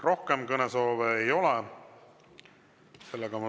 Rohkem kõnesoove ei ole.